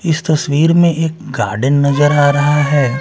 इस तस्वीर में एक गार्डन नजर आ रहा हैं।